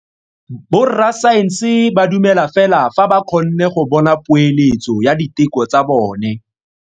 Borra saense ba dumela fela fa ba kgonne go bona poeletso ya diteko tsa bone.